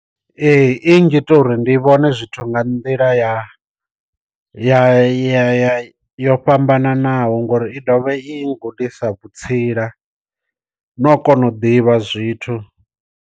Ee i ngita uri ndi vhone zwithu nga nḓila ya ya ya yo fhambananaho ngori i ḓovha i ngudisa vhutsila no kona u ḓivha zwithu.